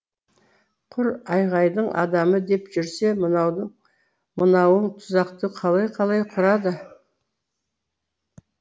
құр айғайдың адамы деп жүрсе мынауың тұзақты қалай қалай құрады